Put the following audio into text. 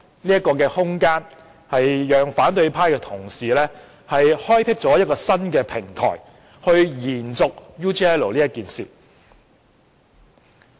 這空間讓反對派同事開闢一個新平台去延續 UGL 事件。